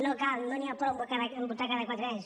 no cal no n’hi ha prou a votar cada quatre anys